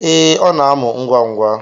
Ee, ọ na-amụ ngwa ngwa